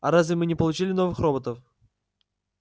а разве мы не получили новых роботов